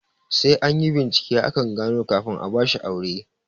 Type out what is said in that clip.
Sai anyi bincike akan ango kafin a bashi aure